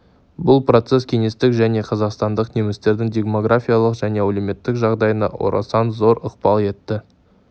бұл процесс кеңестік және қазақстандық немістердің демографиялық және әлеуметтік жағдайына орасан зор ықпал етті